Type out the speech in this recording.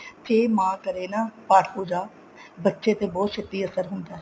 ਜੇ ਮਾਂ ਕਰੇ ਨਾ ਪਾਠ ਪੂਜਾ ਬੱਚੇ ਤੇ ਬਹੁਤ ਛੇਤੀ ਅਸਰ ਹੁੰਦਾ